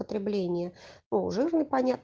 потребление по уже непонят